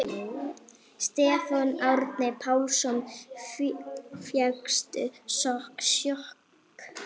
Stefán Árni Pálsson: Fékkstu sjokk?